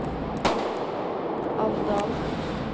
Alvdal